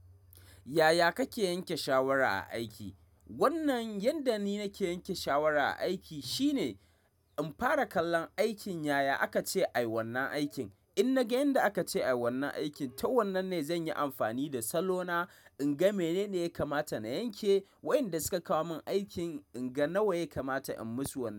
Yaya kake yanke shawara a aiki? Wannan yadda ni nake yanke shawara a aiki shine in fara kallon aikin yaya aka ce ayi wannan aikin. In naga yadda aka ce ayi wannan aikin to wannan ne zanyi amfani da salo na inga menene ya kamata na yanke. Wayanda suka kawo min aikin inga nawa ya kamata in musu.